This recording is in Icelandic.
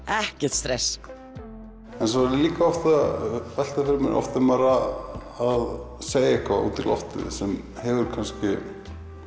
ekkert stress svo er ég líka oft að velta fyrir mér oft er maður er að segja eitthvað út í loftið sem hefur kannski